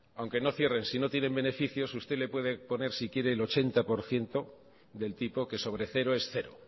aunque no cierren si no tienen beneficios usted le puede poner si quiere el ochenta por ciento del tipo que sobre cero es cero